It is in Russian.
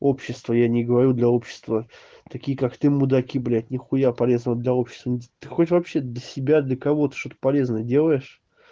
общество я не говорю для общества такие как ты мудаки блядь нихуя полезного для общества ты хоть вообще для себя для кого-то что-то полезное делаешь